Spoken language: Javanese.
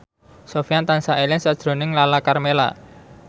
Sofyan tansah eling sakjroning Lala Karmela